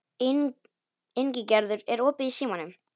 Ingigerður, er opið í Símanum?